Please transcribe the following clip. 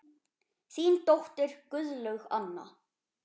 Þín dóttir, Guðlaug Anna.